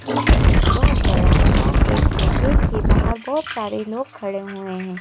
यह एक बहुत बड़ा सा गेट है गेट के बाहर बहुत सारे लोग खड़े हुए हैं।